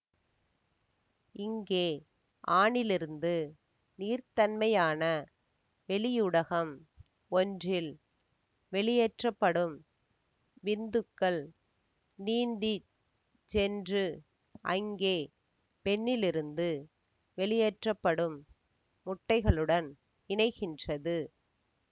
இங்கே ஆணிலிருந்து நீர்த்தன்மையான வெளியூடகம் ஒன்றில் வெளியேற்றப்படும் விந்துக்கள் நீந்தி சென்று அங்கே பெண்ணிலிருந்து வெளியேற்றப்படும் முட்டைகளுடன் இணைகின்றது